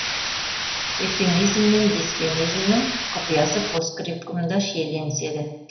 эвфемизм мен дисфемизмнің құпиясы постскриптумда шиеленіседі